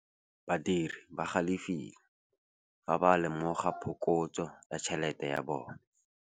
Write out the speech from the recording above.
Badiri ba galefile fa ba lemoga phokotsô ya tšhelête ya bone.